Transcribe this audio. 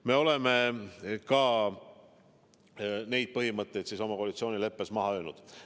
Me oleme ka need põhimõtteid oma koalitsioonileppesse kirja pannud.